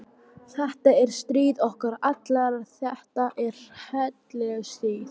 Þetta er stríð okkar allra þetta er heilagt stríð.